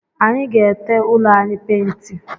Anyi ga-ete ụlọ anyị painti